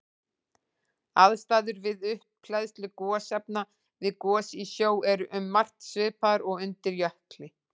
Aðstæður við upphleðslu gosefna við gos í sjó eru um margt svipaðar og undir jökli.